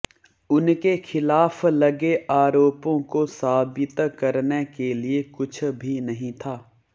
उनके खिलाफ लगे आरोपों को साबित करने के लिए कुछ भी नहीं था